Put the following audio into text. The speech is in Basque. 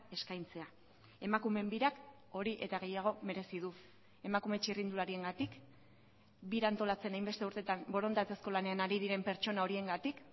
eskaintzea emakumeen birak hori eta gehiago merezi du emakume txirrindulariengatik bira antolatzen hainbeste urtetan borondatezko lanean ari diren pertsona horiengatik